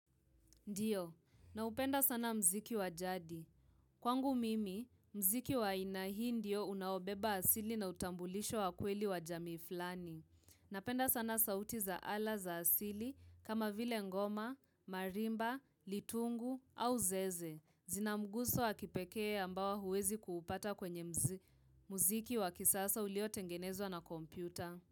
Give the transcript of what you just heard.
Ndiyo, naupenda sana mziki wa jadi. Kwangu mimi, mziki wa aina hii ndio unaobeba asili na utambulisho wa kweli wa jamii fulani. Napenda sana sauti za ala za asili kama vile ngoma, marimba, litungu au zeze. Zina mguso wa kipekee ambao huuwezi kuupata kwenye mziki wakisasa ulio tengenezwa na kompyuta.